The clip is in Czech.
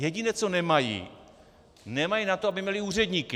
Jediné, co nemají, nemají na to, aby měly úředníky.